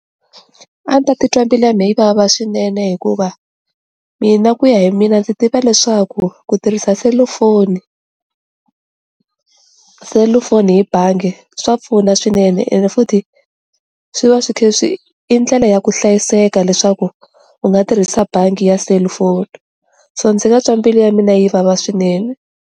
A ni ta titwa mbilu ya me yi vava swinene hikuva mina ku ya hi mina ndzi tiva leswaku ku tirhisa selufoni selufoni hi bangi swa pfuna swinene ene futhi swi va swi khe swi i ndlela ya ku hlayiseka leswaku u nga tirhisa bangi ya selufoni, so ndzi nga twa mbilu ya mina yi vava swinene.